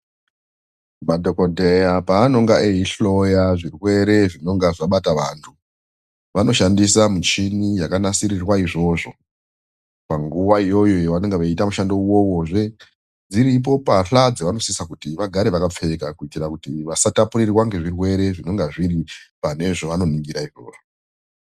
Madhokodheya pavanenge eihloya zvirwere zvinonga zvabata vantu vanoshandisa muchini yakanasirirwa izvozvo panguwa yavanenge veita mushando uwowo dziripo mbahla dzavanosisira kuti vagare vakapfeka kuitira kuti vasatapurirwa ngezvirwere zvinonga zviri pane zvavanoningirw izvozvo.